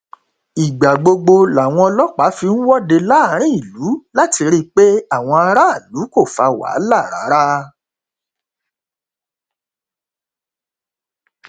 ìgbà gbogbo làwọn ọlọpàá fi ń wọde láàrin ìlú láti rí i pé àwọn aráàlú kò fa wàhálà rárá